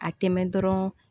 A tɛmɛ dɔrɔn